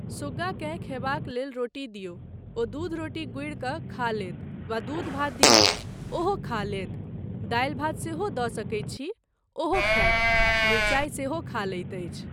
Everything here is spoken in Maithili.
सुग्गाकेँ खयबाक लेल रोटी दियौ, ओ दूध रोटी गूड़ि कऽ खा लैत वा दूध भात दियौ, ओहो खा लैत, दालि भात सेहो दऽ सकैत छी ओहो खायत, मिरचाइ सेहो खा लैत अछि।